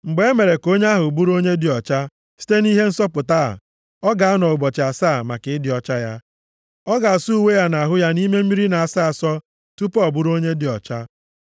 “ ‘Mgbe e mere ka onye ahụ bụrụ onye dị ọcha site nʼihe nsọpụta a, ọ ga-anọ ụbọchị asaa maka ịdị ọcha ya. Ọ ga-asa uwe ya na ahụ ya nʼime mmiri na-asọ asọ tupu ọ bụrụ onye dị ọcha.